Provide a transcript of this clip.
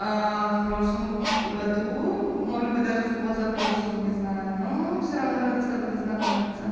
в прошлом году может быть даже в позапрошлом не знаю ну все равно рада с тобой познакомиться